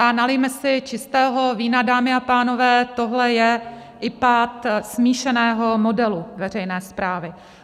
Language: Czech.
A nalijme si čistého vína, dámy a pánové, tohle je i pád smíšeného modelu veřejné správy.